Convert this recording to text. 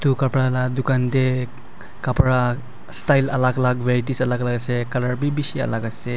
etu kapra lah dukan teh kapra style alag alag varieties alag alag ase colour be bishi alag ase.